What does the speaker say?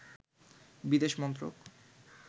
বিদেশ মন্ত্রক